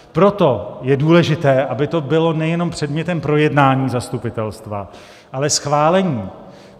Proto je důležité, aby to bylo nejenom předmětem projednání zastupitelstva, ale schválení.